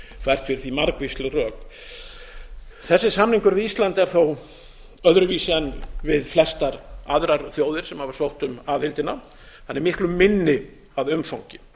fyrir því margvísleg rök þessi samningur við ísland er þó öðruvísi en við flestar aðrar þjóðir sem hafa sótt um aðildina hann er miklu minni að umfangi